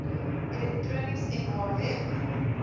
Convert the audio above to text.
elektronies mh web